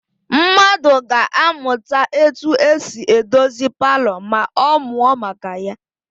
Mmadụ ga-amụta etu esi edozi palọ ma ọ mụọ maka ya.